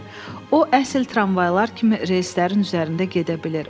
O əsil tramvaylar kimi reyslərin üzərində gedə bilir.